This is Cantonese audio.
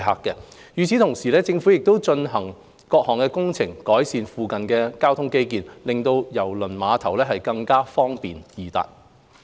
與此同時，政府亦正進行各項工程，改善附近的交通基建，令郵輪碼頭更方便易達。